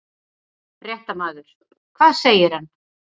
Fréttamaður: Hvað segir hann?